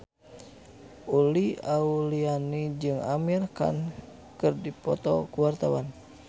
Uli Auliani jeung Amir Khan keur dipoto ku wartawan